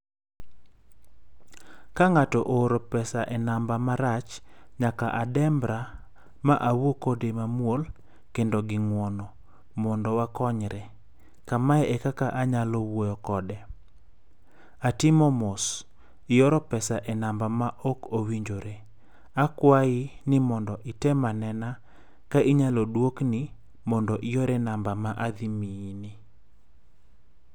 Kang'ato ooro pesa e namba marach, nyaka adembra, ma awuo kode mamuol kendo gi ng'uono mondo wakonyre. Kamae ekaka anyalo wuoyo kode, atimo mos, ioro pesa e namba maok owinjore. Akwayi item anena ka inyalo duokni mondo ior e namba madhi miyi ni.